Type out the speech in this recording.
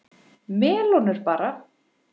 Melónur bara!